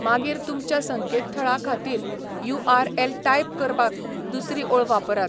मागीर तुमच्या संकेतथळा खातीर यू.आर.एल टायप करपाक दुसरी ओळ वापरात.